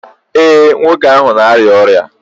ee, nwoke ahụ na-arịa ọrịa?